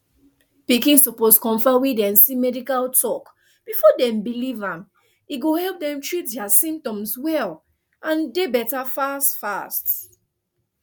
pikin suppose confam wey dem see medical talk before dem believe am e go help dem treat dia symptoms well and dey better fast fast